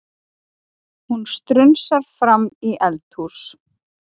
Hún strunsar fram í eldhús.